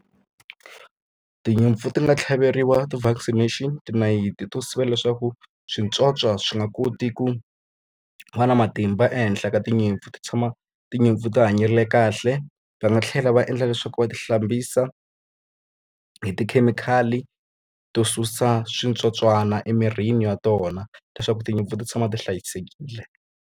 Tinyimpfu ti nga tlhaveriwa ti-vaccination tinayiti to sivela leswaku switsotswana swi nga koti ku va na matimba ehenhla ka tinyimpfu, ti tshama tinyimpfu ti hanyile yi kahle. Va nga tlhela va endla leswaku va ti hlambisa hi tikhemikhali to susa switsotswana emirini wa tona leswaku tinyimpfu ti tshama ti hlayisekile.